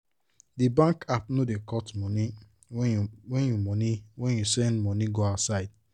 de bankapp no da cut money when you money when you send money go outside